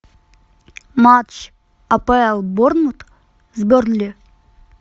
матч апл борнмут с бернли